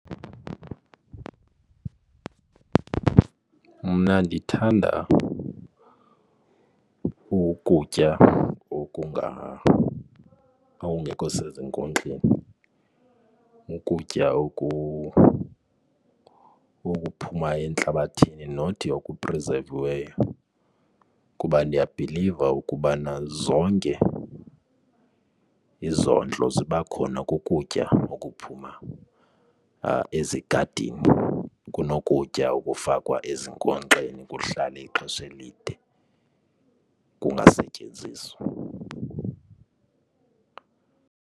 Mna ndithanda ukutya okungekho sezinkonxeni, ukutya okuphuma entlabathini, not okuprizeviweyo kuba ndiyabhiliva ukubana zonke izondlo ziba khona kukutya okuphuma ezigadini kunokutya okufakwa ezinkonkxeni kuhlale ixesha elide kungasetyenziswa.